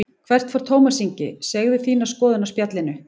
Hvert fer Tómas Ingi, segðu þína skoðun á Spjallinu